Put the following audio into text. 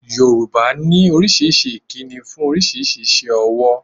Yorùbá ní oríṣiríṣi ìkíni fún oríṣiríṣi iṣẹ́ owó